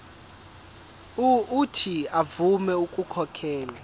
uuthi avume ukukhokhela